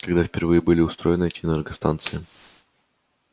когда впервые были устроены эти энергостанции